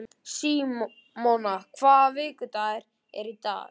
Símona, hvaða vikudagur er í dag?